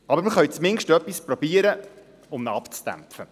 Aber wir können zumindest versuchen, ihn abzudämpfen.